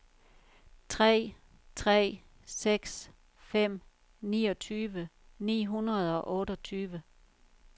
tre tre seks fem niogtyve ni hundrede og otteogtyve